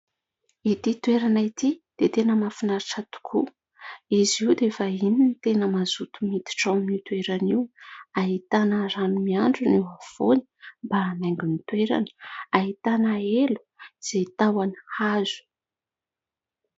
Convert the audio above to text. Ity toerana ity dia tena mahafinaritra tokoa. Izy io dia efa irony tena mazoto miditra ao amin'io toerana io ahitana rano mihandrona eo afovoany mba hanaingo ny toerana ahitana elo izay tahony hazo